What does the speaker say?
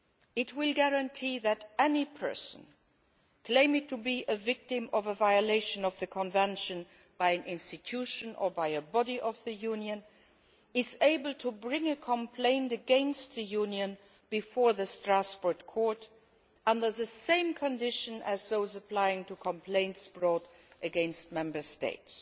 It will guarantee that any person claiming to be a victim of a violation of the Convention by an institution or by a body of the Union is able to bring a complaint against the Union before the Strasbourg Court under the same conditions as those applying to complaints brought against Member States.